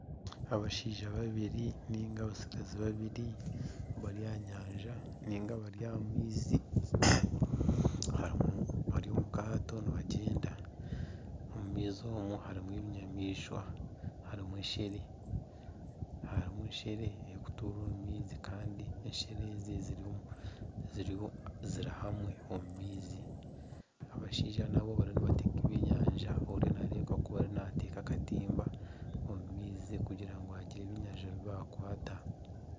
Abashaija babiri niga abatsigazi babiri bari aha nyanja niga bari aha maizi bari omu kaato nibagyenda omu maizi omwo harimu ebinyamaishwa harimu eshere erikutura omu maizi kandi eshere ezi ziri hamwe omu maizi. Abashaija nabo barimu nibateega ebyenyanja oriya nareebeka kuba nateega akatimba omu maizi kugira ngu bagire eby'enyanja ebi bakwata.